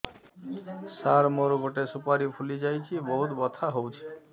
ସାର ମୋର ଗୋଟେ ସୁପାରୀ ଫୁଲିଯାଇଛି ବହୁତ ବଥା ହଉଛି